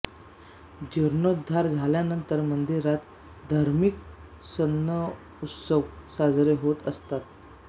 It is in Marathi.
जीर्णोद्धार झाल्यानंतर मंदिरात धार्मिक सणउत्सव साजरे होत असत